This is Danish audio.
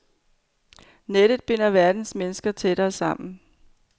Nettet binder verdens mennesker tættere sammen.